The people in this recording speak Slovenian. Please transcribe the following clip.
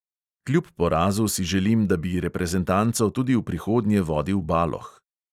Kljub porazu si želim, da bi reprezentanco tudi v prihodnje vodil baloh.